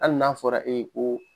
Hali n'a fɔra e ye ko